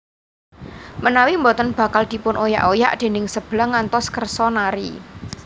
Menawi boten bakal dipun oyak oyak déning Seblang ngantos kersa nari